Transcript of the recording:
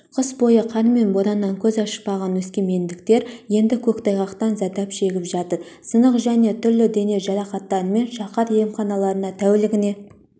қыс бойы қар мен бораннан көз ашпаған өскемендіктер енді көктайғақтан зардап шегіп жатыр сынық және түрлі дене жарақаттарымен шаһар емханаларына тәулігіне